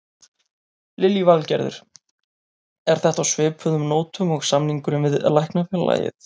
Lillý Valgerður: Er þetta á svipuðum nótum og samningurinn við Læknafélagið?